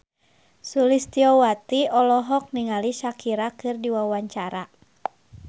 Sulistyowati olohok ningali Shakira keur diwawancara